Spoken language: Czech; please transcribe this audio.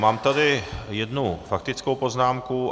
Mám tady jednu faktickou poznámku.